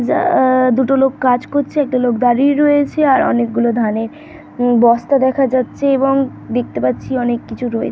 যা- দুটো লোক কাজ করছে একটা লোক দাঁড়িয়ে রয়েছে আর অনেক গুলো ধানের বস্তা দেখা যাচ্ছে এবং দেখতে পারছি অনেক কিছু রয়ে--